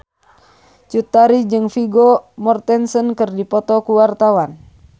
Cut Tari jeung Vigo Mortensen keur dipoto ku wartawan